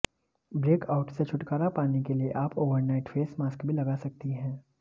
breakouts से छुटकारा पाने के लिए आप ओवरनाइट फेस मास्क भी लगा सकती हैं